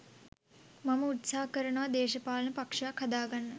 මම උත්සහ කරනවා දේශපාලන පක්‍ෂයක් හදාගන්න